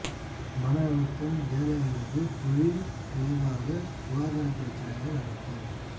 மன அழுத்தம் வேலை அல்லது தொழில் விளைவாக சுகாதார பிரச்சினைகள் அழுத்தம்